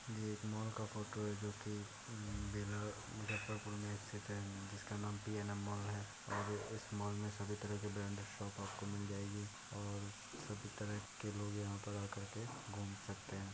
यह एक मॉल का फोटो है जोकी बिहार मुज्जफरपुर में स्थित है जिसका नाम पी.एन.एम. मॉल है और इस मॉल में सभी तरह की ब्रांडेड शॉप आपको मिल जाएगी और सभी तरह के लोग यहाँ पर आकर के घूम सकते हैं।